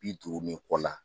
Bi duuru ni kɔ la